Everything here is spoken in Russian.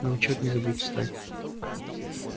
на учёт не забудь встать